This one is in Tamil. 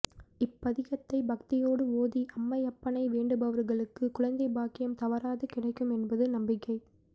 இப்பதிகத்தை பக்தியோடு ஓதி அம்மையப்பனை வேண்டுபவர்களுக்கு குழந்தை பாக்கியம் தவறாது கிடைக்கும் என்பது நம்பிக்கை